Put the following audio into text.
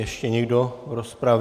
Ještě někdo v rozpravě?